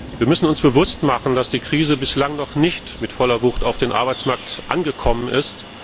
Wir müssen uns bewusst machen, dass die Krise bislang noch nicht mit voller Wucht auf dem Arbeitsmarkt angekommen ist.